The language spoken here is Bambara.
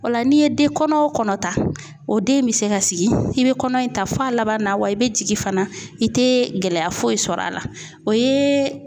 O la n'i ye den kɔnɔ o kɔnɔ ta o den bɛ se ka sigi i bɛ kɔnɔ in ta fɔ a laban na wa i bɛ jigin fana i tɛ gɛlɛya foyi sɔrɔ a la o ye